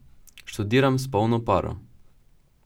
Študiram s polno paro!